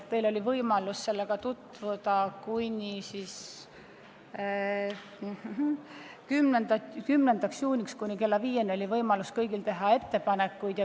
Teil oli võimalus tekstiga tutvuda ja kuni 10. juunil kella viieni said kõik teha ettepanekuid.